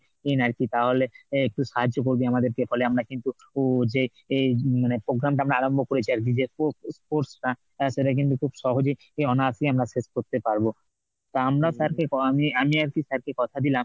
আর কি তাহলে একটু সাহায্য করবে আমাদের কে ফলে আমরা কিন্তু যে এই মানে programme টা আরম্ভ করেছি যে sports টা সেটা কিন্তু খুব সহজেই অনায়াসে আমরা শেষ করতে পারব। তা আমরা sir কে আমি আমি আর কি sir কে কথা দিয়েছি